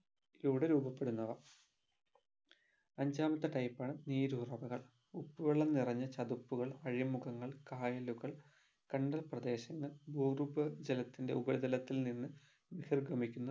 ഇവുടെ രൂപപെടുന്നവ അഞ്ചാമത്തെ type ആണ് നീരുറവകൾ ഉപ്പുവെള്ളം നിറഞ്ഞ ചതുപ്പുകൾ അഴിമുഖങ്ങൾ കായലുകൾ കണ്ടൽപ്രദേശങ്ങൾ ഭൂഗർഭജലത്തിൻ്റെ ഉപരിതലത്തിൽ നിന്ന് നിസർഗമിക്കുന്ന